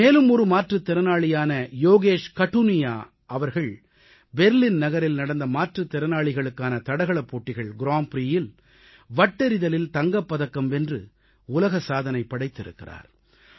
மேலும் ஒரு மாற்றுத் திறனாளியான யோகேஷ் கடுனியா அவர்கள் பெர்லின் நகரில் நடந்த மாற்றுத் திறனாளிகளுக்கான தடகளப் போட்டிகள் கிராண்ட் பிரீயில் வட்டெறிதலில் தங்கப் பதக்கம் வென்று உலக சாதனை படைத்திருக்கிறார்